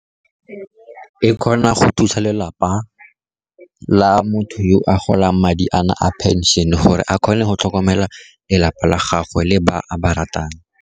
E kgona go thusa lelapa la motho yo a golang madi ana a phenšene, gore a kgone go tlhokomela lelapa la gagwe le ba a ba ratang.